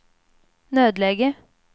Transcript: nödläge